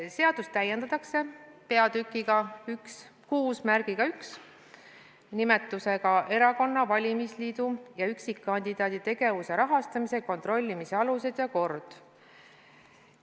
Seadust täiendatakse peatükiga 61 "Erakonna, valimisliidu ja üksikkandidaadi tegevuse rahastamise kontrollimise alused ja kord".